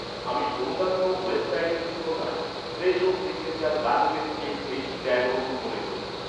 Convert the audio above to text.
আমি অন্যান্য ওয়েবসাইটের তুলনায় ফ্রেশো সিগনেচার গাজরের কেক বেশি ব্যয়বহুল মনে করি